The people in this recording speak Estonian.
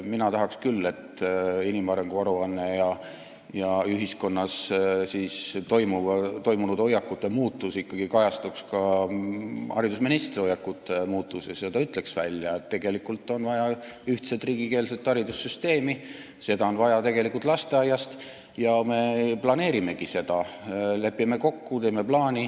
Mina tahaks küll, et inimarengu aruande järeldused ja ühiskonnas toimunud hoiakute muutus ikkagi kajastuksid ka haridusministri muutunud hoiakutes ja ta ütleks välja, et tegelikult on vaja ühtset riigikeelset haridussüsteemi, seda on vaja alates lasteaiast ja me planeerimegi seda, me lepime kokku, teeme plaani.